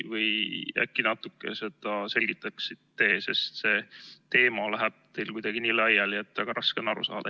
Äkki natuke selgitaksite seda, sest see teema läheb teil kuidagi nii laiali, et väga raske on aru saada.